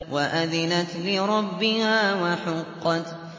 وَأَذِنَتْ لِرَبِّهَا وَحُقَّتْ